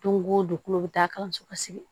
Don go don tulo bɛ taa kalanso ka sigi